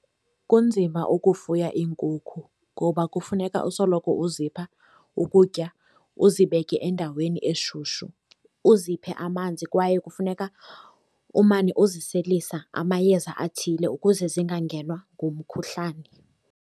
Kunzima ukufuya iinkukhu ngoba kufuneka usoloko uzipha ukutya, uzibeke endaweni eshushu, uziphe amanzi, kwaye kufuneka umane uziselisa amayeza athile ukuze zingangenwa ngumkhuhlane.